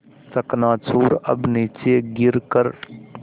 चकनाचूर अब नीचे गिर कर